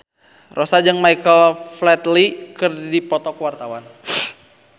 Rossa jeung Michael Flatley keur dipoto ku wartawan